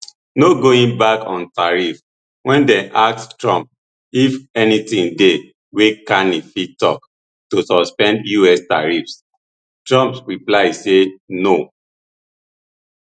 no going back on tariffs wen dem ask trump if anything dey wey carney fit tok to suspend us tariffs trump reply say no